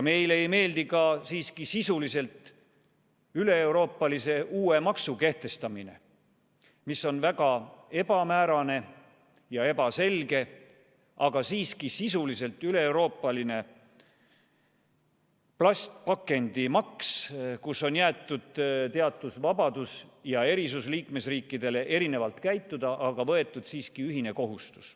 Meile ei meeldi ka sisuliselt üleeuroopalise uue maksu kehtestamine, mis on väga ebamäärane ja ebaselge, aga siiski sisuliselt üleeuroopaline plastpakendimaks, mille puhul on liikmesriikidele jäetud teatud vabadus erinevalt käituda, aga võetud siiski ühine kohustus.